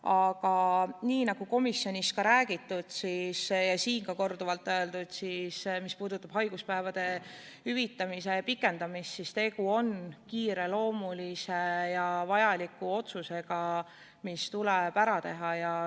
Aga nagu komisjonis räägitud ja ka siin korduvalt öeldud, on haiguspäevade hüvitamise pikendamise puhul tegu kiireloomulise ja vajaliku otsusega, mis tuleb ära teha.